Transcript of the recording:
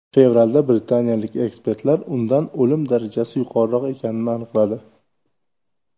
Fevralda britaniyalik ekspertlar undan o‘lim darajasi yuqoriroq ekanini aniqladi.